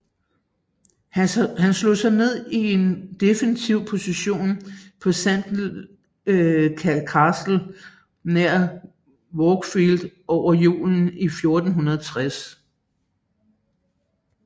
Han slog sig ned i en defensiv position på Sandal Castle nær Wakefield over julen i 1460